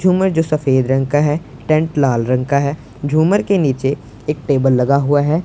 झूमर जो सफेद रंग का है टेंट लाल रंग का है झूमर के नीचे एक टेबल लगा हुआ है।